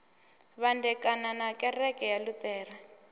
vhandekana na kereke ya luṱere